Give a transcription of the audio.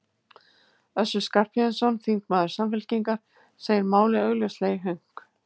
Össur Skarphéðinsson, þingmaður Samfylkingar, segir málið augljóslega í hönk.